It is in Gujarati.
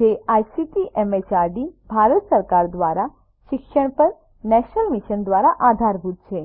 જે આઇસીટી એમએચઆરડી ભારત સરકાર દ્વારા શિક્ષણ પર નેશનલ મિશન દ્વારા આધારભૂત છે